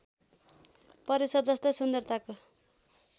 परिसर जस्तै सुन्दरताको